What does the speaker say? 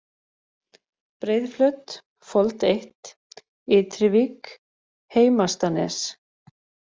Breiðflöt, Fold 1, Ytrivík, Heimastanes